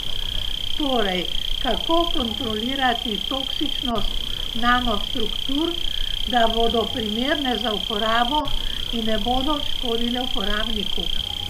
Torej, kako kontrolirati toksičnost nanostruktur, da bodo primerne za uporabo in ne bodo škodile uporabniku?